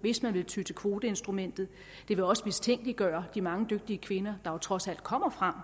hvis man vil ty til kvoteinstrumentet det vil også mistænkeliggøre de mange dygtige kvinder der trods alt kommer frem